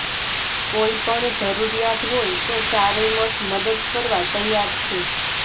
કોઈપણ જરૂરિયાત હોય તો ચારેય મઠ મદદ કરવા તૈયાર છે